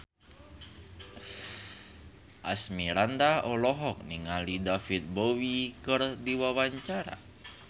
Asmirandah olohok ningali David Bowie keur diwawancara